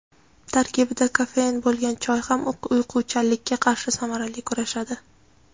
Tarkibida kofein bo‘lgan choy ham uyquchanlikka qarshi samarali kurashadi.